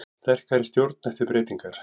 Sterkari stjórn eftir breytingar